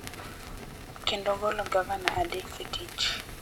kendo golo gavana adek e tich,